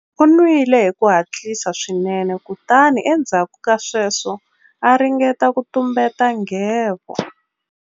U nwile hi ku hatlisa swinene kutani endzhaku ka sweswo a ringeta ku tumbeta nghevo.